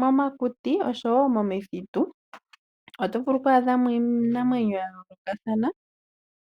Momakuti ohatu vulu oku adha mo iinamwenyo ya yoolokathana